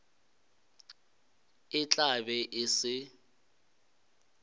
e tla be e se